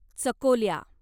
चकोल्या